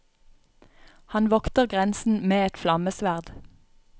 Han vokter grensen med et flammesverd.